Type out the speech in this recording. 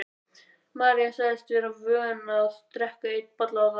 María sagðist vera vön að drekka einn bolla á dag.